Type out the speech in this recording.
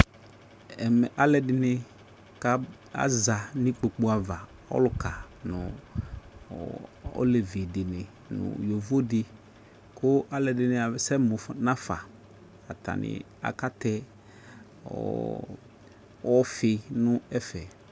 Ɛmɛ alɛde ne ka, aza no ikpolu ava, ɔluka no, ɔɔ olevi de ne no yavo de ko alɛde ne asɛ mo nafa Atane aka tɛ ɔɔ ɔfi nɛfɛ